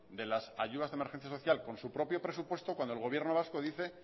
de las ayudas de emergencia social con su propio presupuesto cuando el gobierno vasco dice